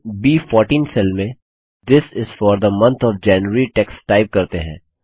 चलिए ब14 सेल में this is for the month of January text type करते हैं